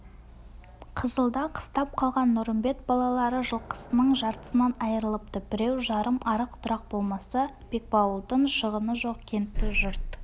қызылда қыстап қалған нұрымбет балалары жылқысының жартысынан айрылыпты біреу-жарым арық-тұрақ болмаса бекбауылдың шығыны жоқ кентті жұрт